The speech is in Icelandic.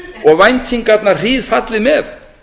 og væntingarnar hríðfallið með